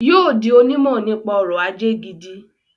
Yóò di onímọ̀ nípa ọrọ̀-ajé gidi.